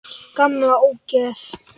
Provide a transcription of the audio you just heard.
Gamla ógeð!